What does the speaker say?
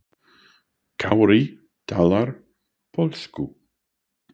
Kári talar pólsku.